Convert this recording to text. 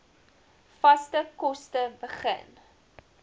vaste kos begin